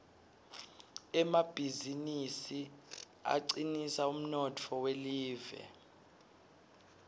emabizinisi acinisa umnotfo welive